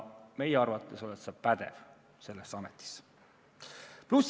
Meie arvates oled sa pädev seda ametit pidama.